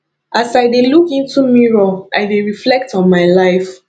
as i dey look into mirror i dey reflect on my life